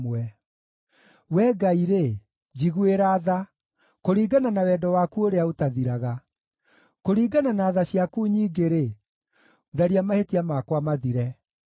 Wee Ngai-rĩ, njiguĩra tha, kũringana na wendo waku ũrĩa ũtathiraga; kũringana na tha ciaku nyingĩ-rĩ, tharia mahĩtia makwa mathire.